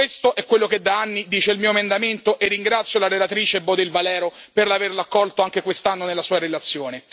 Questo è quello che da anni dice il mio emendamento e ringrazio la relatrice Bodil Valero per averlo accolto anche quest'anno nella sua relazione.